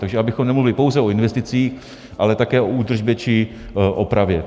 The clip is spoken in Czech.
Takže abychom nemluvili pouze o investicích, ale také o údržbě či opravě.